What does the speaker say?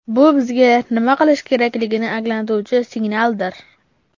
Bu bizga nima qilish kerakligini anglatuvchi signaldir.